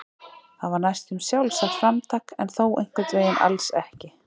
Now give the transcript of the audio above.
Það var næstum sjálfsagt framtak en þó einhvern veginn alls ekki.